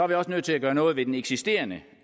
vi også nødt til at gøre noget ved den eksisterende